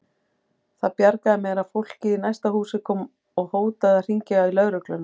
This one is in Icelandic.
Það bjargaði mér að fólkið í næsta húsi kom og hótaði að hringja í lögregluna.